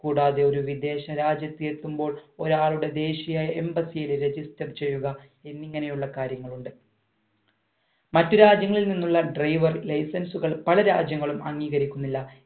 കൂടാതെ ഒരു വിദേശ രാജ്യത്തിൽ എത്തുമ്പോൾ ഒരാളുടെ ദേശിയ embassy യിൽ register ചെയ്യുക എന്നിങ്ങനെയുള്ള കാര്യങ്ങളുണ്ട് മറ്റു രാജ്യങ്ങളിൽ നിന്നുള്ള driver license കൾ പല രാജ്യങ്ങളും അംഗീകരിക്കുന്നില്ല